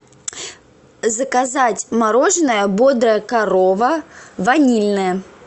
заказать мороженое бодрая корова ванильное